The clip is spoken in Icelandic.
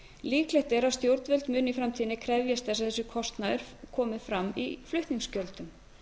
líklegt er að stjórnvöld muni í framtíðinni krefjast þess að þessi kostnaður komi fram í flutningsgjöldum